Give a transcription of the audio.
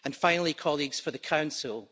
And finally, colleagues, for the Council.